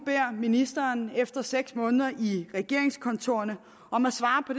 ministeren efter seks måneder i regeringskontorerne om at svare på